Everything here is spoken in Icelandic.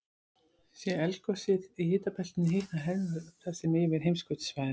sé eldgosið í hitabeltinu hitnar heiðhvolfið þar meira en yfir heimskautasvæðunum